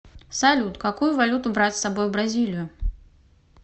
салют какую валюту брать с собой в бразилию